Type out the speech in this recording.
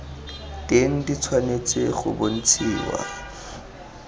teng di tshwanetse go bontshiwa